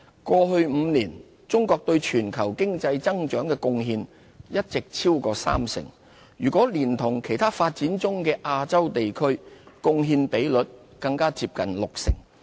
過去5年，中國對全球經濟增長的貢獻一直超過三成，若連同其他發展中的亞洲地區，貢獻比率更加接近六成。